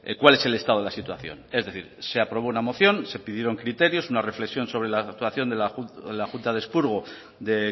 cuál es el estado de la situación es decir se aprobó una moción se pidieron criterios una reflexión sobre la actuación de la junta de expurgo de